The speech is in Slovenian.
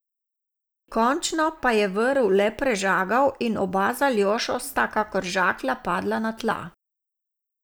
Končno pa je vrv le prežagal in oba z Aljošo sta kakor žaklja padla na tla.